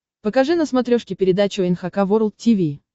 покажи на смотрешке передачу эн эйч кей волд ти ви